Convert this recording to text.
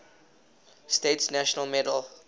states national medal